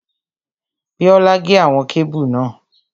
Bíọ́lá gé àwọn kébù náà